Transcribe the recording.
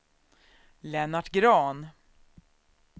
Lennart Grahn